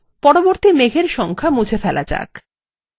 পরবর্তী মেঘ এর সংখ্যা মুছে ফেলা যাক